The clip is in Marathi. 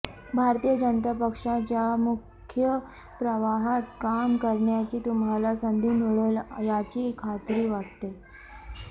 भारतीय जनता पक्षाच्या मुख्य प्रवाहात काम करण्याची तुम्हाला संधी मिळेल याची खात्री वाटते